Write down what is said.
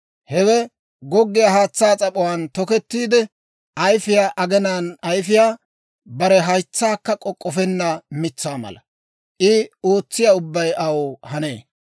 Hewe goggiyaa haatsaa s'ap'uwaan tokettiide, ayifiyaa aginaan ayifiyaa, bare haytsaakka k'ok'k'ofenna mitsaa mala. I ootsiyaa ubbay aw hanee.